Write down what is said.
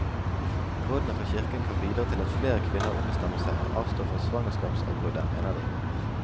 Rådene fra kirken kan bidra til at flere kvinner ombestemmer seg og avstår fra svangerskapsavbruddet, mener de.